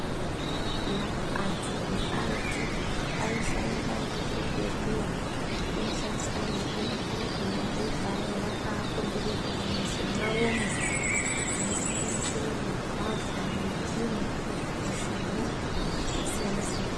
Eya antu ekaretu aisaenda muzvibhedhleya aishandisa mitombo yaigaya aka akomberedza mumizi mwawomwo inosanganisire mugwavha, mundimu, mushani zvakasiyana siyana.